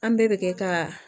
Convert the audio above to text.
An bɛɛ bɛ kɛ ka